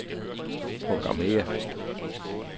programmér